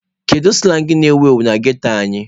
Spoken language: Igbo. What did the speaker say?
Kedu sụlang na-ewuru ndị ghetto anyị?